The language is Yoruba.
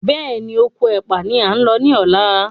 Béèni Okò ẹpa ní a ń ló ní ọlá.